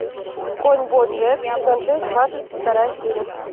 конь боджек сезон шесть двадцать вторая серия